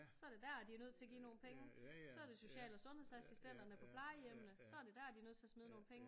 Så det der de er nødt til at give nogle penge så det social og sundhedsassistenterne på plejehjemmene så det der de nødt til at smide nogle penge